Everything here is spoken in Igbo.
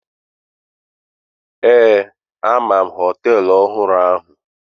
Ee, ama m hoteelu ọhụrụ ahụ.